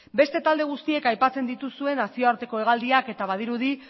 beste talde guztiek aipatzen dituzue nazioarteko hegaldiak eta badirudi